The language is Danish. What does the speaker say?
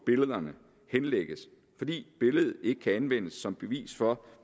billederne henlægges fordi billedet ikke kan anvendes som bevis for